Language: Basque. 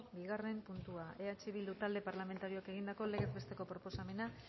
bigarren puntua eh bildu talde parlamentarioak egindako legez besteko proposamena